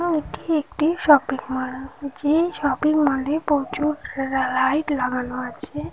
এটি একটি shopping mall. যে শপিং মল -এ প্রচুর লা লাইট লাগানো আছে।